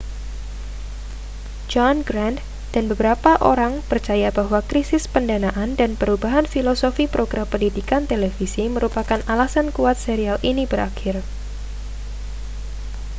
john grant dan beberapa orang percaya bahwa krisis pendanaan dan perubahan filosofi program pendidikan televisi merupakan alasan kuat serial ini berakhir